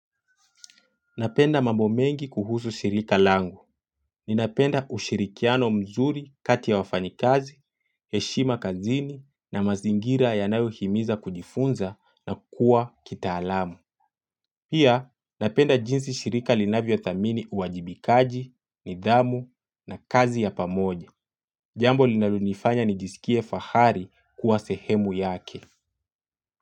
Napenda mambo mengi kuhusu shirika langu. Ninapenda ushirikiano mzuri kati ya wafanyikazi, heshima kazini na mazingira yanayohimiza kujifunza na kuwa kitaalam. Pia napenda jinsi shirika linavyothamini uwajibikaji, nidhamu na kazi ya pamoja. Jambo linalonifanya nijisikie fahari kuwa sehemu yake.